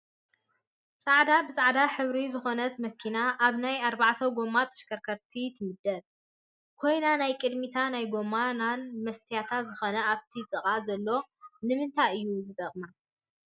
ፃዕዳ ብፃዕዳ ሕብሪ ዝኮነት መኪና ኣብ ናይ ኣርባዕተ ጎማ ተሽከርከርቲ ትምደብ ኮይና ናይ ቅዲሚታን ናይጎ ናን መስትያት ዝኮነት ኣብቲ ጥቅኣ ዘሎ ንምንታይ እዩ ዝጠቅማ?